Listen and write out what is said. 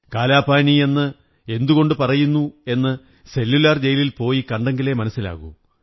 കാലാപാനി എന്ന് എന്തുകൊണ്ടു പറയുന്നു എന്ന് സെല്ലുലാർ ജെയിലിൽ പോയി കണ്ടെങ്കിലേ മനസ്സിലാകൂ